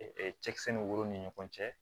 cɛkisɛ ni woro ni ɲɔgɔn cɛ